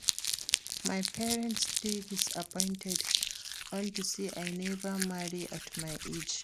My parents dey disappointed unto say I never marry at my age